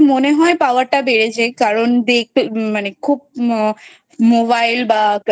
মনে হয় Power টা বেড়েছে কারণ দেখতে মানে Mobile বা